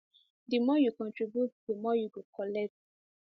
um di more you contribute di more u go collect